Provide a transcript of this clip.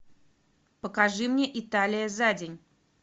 покажи мне италия за день